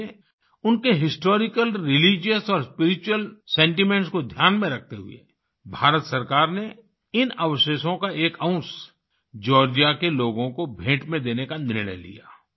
इसीलिए उनके historical religious और स्पिरिचुअल सेंटीमेंट्स को ध्यान में रखते हुए भारत सरकार ने इन अवशेषों का एक अंश जॉर्जिया के लोगों को भेंट में देने का निर्णय लिया